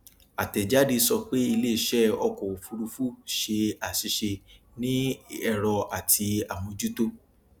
àtẹjáde sọ pé iléiṣẹ ọkọ òfurufú ṣe àṣìṣe ní ẹrọ àti àmójútó